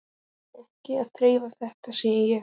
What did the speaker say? Verið ekki að þrefa þetta, sagði ég.